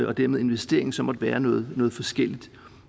og dermed investeringen så måtte være noget forskelligt